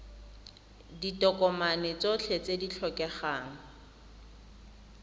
ditokomane tsotlhe tse di tlhokegang